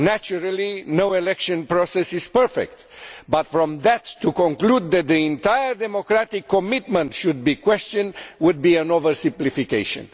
Naturally no election process is perfect, and to conclude from that that the entire democratic commitment should be questioned would be an oversimplification.